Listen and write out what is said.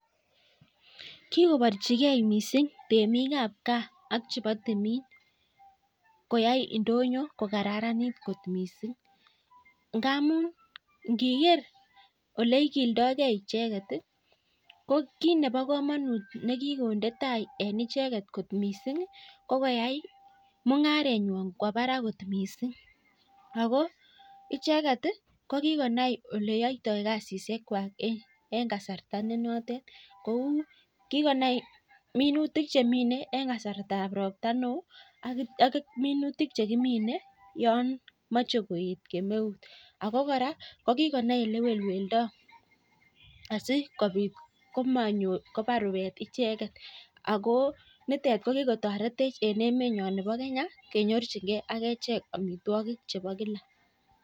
Kikobarchikei temik ab gaa kowai ndonyo ko kararanit kikwai mugharet kowaa barak missing ako icheket kikonai olekiyoto kasishek kwaak komnyee